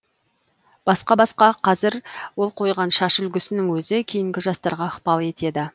басқа басқа қазір ол қойған шаш үлгісінің өзі кейінгі жастарға ықпал етеді